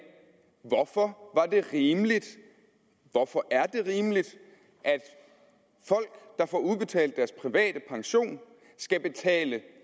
hvorfor var det rimeligt hvorfor er det rimeligt at folk der får udbetalt deres private pension skal betale